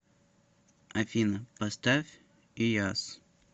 афина поставь ияз